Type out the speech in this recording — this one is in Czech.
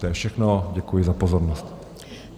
To je všechno, děkuji za pozornost.